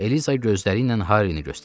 Eliza gözləriylə Harrini göstərdi.